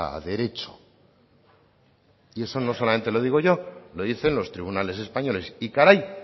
a derecho y eso no solamente lo digo yo lo dicen los tribunales españoles y caray